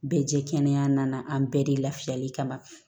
Bɛɛ jɛ kɛnɛya nana an bɛɛ de lafiyali kama